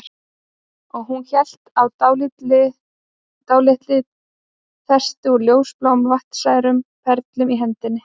Og hún hélt á dálítilli festi úr ljósbláum vatnstærum perlum í hendinni